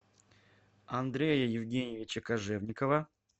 андрея евгеньевича кожевникова